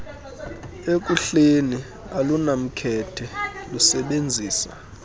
ekuhleni alunamkhethe lusebenzisa